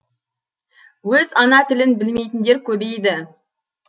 өз ана тілін білмейтіндер көбейді